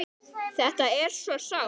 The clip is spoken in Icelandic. Þetta er þetta svo sárt!